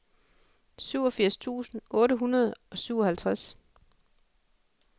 syvogfirs tusind otte hundrede og syvoghalvtreds